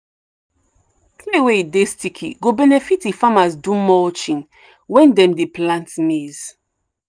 clay wey dey sticky go benefit if farmers do mulching when dem dey plant maize.